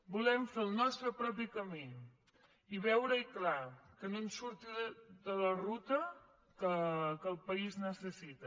volem fer el nostre propi camí i veure hi clar que no se surti de la ruta que el país necessita